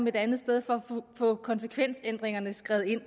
et andet sted for at få konsekvensændringerne skrevet ind